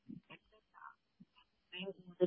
ഇല്ലില്ലാ